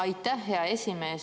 Aitäh, hea esimees!